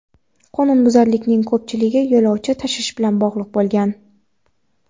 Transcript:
Qonunbuzarliklarning ko‘pchiligi yo‘lovchi tashish bilan bog‘liq bo‘lgan.